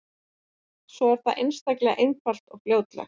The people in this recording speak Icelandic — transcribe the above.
Svo er það einstaklega einfalt og fljótlegt.